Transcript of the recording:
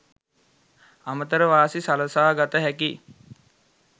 අමතර වාසි සලසා ගත හැකි